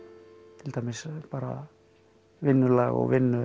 til dæmis bara vinnulag og vinnu